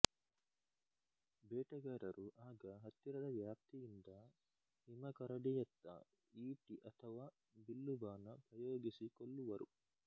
ಬೇಟೆಗಾರರು ಆಗ ಹತ್ತಿರದ ವ್ಯಾಪ್ತಿಯಿಂದ ಹಿಮಕರಡಿಯತ್ತ ಈಟಿ ಅಥವಾ ಬಿಲ್ಲುಬಾಣ ಪ್ರಯೋಗಿಸಿ ಕೊಲ್ಲುವರು